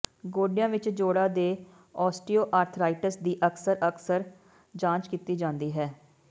ਗੋਡਿਆਂ ਵਿਚ ਜੋੜਾਂ ਦੇ ਓਸਟੀਓਆਰਥਾਈਟਿਸ ਦੀ ਅਕਸਰ ਅਕਸਰ ਜਾਂਚ ਕੀਤੀ ਜਾਂਦੀ ਹੈ